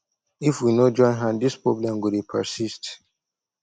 if we no join hand this problem go dey persist